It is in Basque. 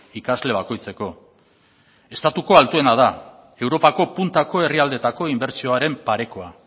ikasle bakoitzeko estatuko altuena da europako puntako herrialdeetako inbertsioaren parekoa